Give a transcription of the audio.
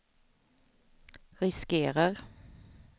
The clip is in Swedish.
riskerar